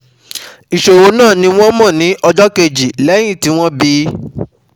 Ìṣòro náà ni wọ́n mọ ní ọjọ́ kejì lẹ́yìn tí wọ́n bí i